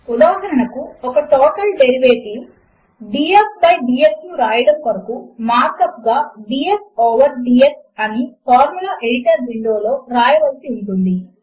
ఉదాహరణకు ఒక total derivative DF by DX ను వ్రాయడము కొరకు మార్క్ అప్ గా డిఎఫ్ ఓవర్ డీఎక్స్ అని ఫార్ములా ఎడిటర్ విండో లో వ్రాయవలసి ఉంటుంది